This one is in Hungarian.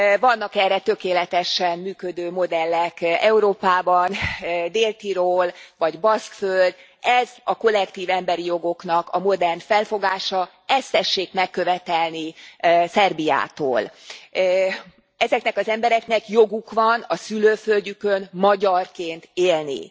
Vannak erre tökéletesen működő modellek Európában, Dél Tirol vagy Baszkföld, ez a kollektív emberi jogoknak a modern felfogása, ezt tessék megkövetelni Szerbiától. Ezeknek az embereknek joguk van a szülőföldjükön magyarként élni.